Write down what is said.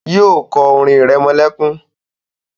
yíò kọ orin iremolekun kán.